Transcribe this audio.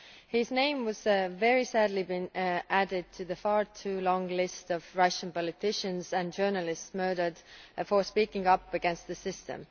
His name has very sadly been added to the far-too-long list of Russian politicians and journalists murdered for speaking out against the system.